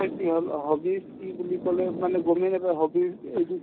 কি হ'ল hobbies কি বুলি ক'লে মানে গমে নাপাই hobby ৰ এইটো